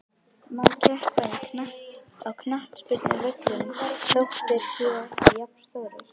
Má keppa á knattspyrnuvöllum þó þeir séu ekki jafnstórir?